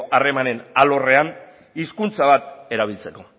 harremanen alorrean hizkuntza bat erabiltzeko